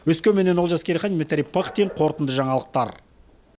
өскеменнен олжас керейхан дмитрий пыхтин қорытынды жаңалықтар